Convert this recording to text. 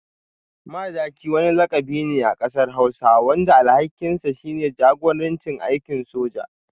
Madaki wani lakabi ne a kasar hausa wanda alhakinsa shine jagoranci a aikin soja.